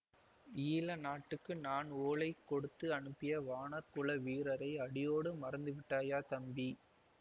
ஈழ நாட்டுக்கு நான் ஓலை கொடுத்து அனுப்பிய வாணர் குல வீரரை அடியோடு மறந்துவிட்டாயா தம்பி